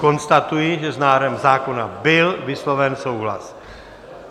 Konstatuji, že s návrhem zákona byl vysloven souhlas.